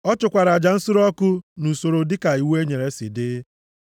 Ọ chụkwara aja nsure ọkụ nʼusoro dịka iwu e nyere si dị.